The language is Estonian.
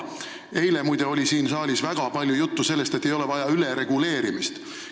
Eile, muide, oli siin saalis väga palju juttu sellest, et ei ole vaja ülereguleerimist.